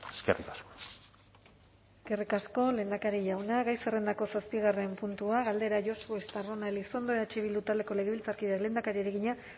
eskerrik asko eskerrik asko lehendakari jauna gai zerrendako zazpigarren puntua galdera josu estarrona elizondo eh bildu taldeko legebiltzarkideak lehendakariari egina